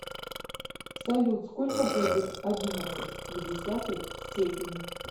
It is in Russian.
салют сколько будет одиннадцать в десятой степени